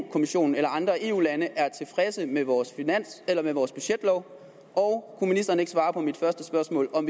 kommissionen eller andre eu lande er tilfredse med vores vores budgetlov og kunne ministeren ikke svare på mit første spørgsmål om